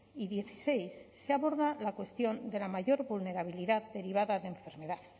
y dieciséis se aborda la cuestión de la mayor vulnerabilidad derivada de enfermedad